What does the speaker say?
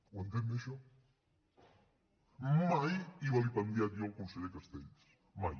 ho entén bé això mai he vilipendiat jo el conseller castells mai